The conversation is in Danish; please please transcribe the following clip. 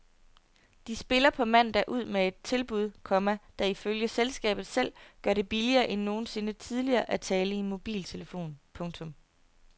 De spiller på mandag ud med et tilbud, komma der ifølge selskabet selv gør det billigere end nogensinde tidligere at tale i mobiltelefon. punktum